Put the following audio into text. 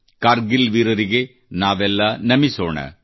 ಕಾರ್ಗಿಲ್ ವೀರರಿಗೆ ನಾವೆಲ್ಲ ನಮಿಸೋಣ